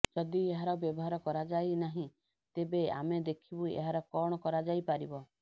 ଯଦି ଏହାର ବ୍ୟବହାର କରାଯାଇ ନାହିଁ ତେବେ ଆମେ ଦେଖିବୁ ଏହାର କଣ କରାଯାଇ ପାରିବ